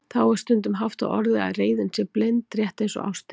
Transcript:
Þá er stundum haft á orði að reiðin sé blind, rétt eins og ástin.